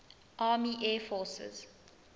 army air forces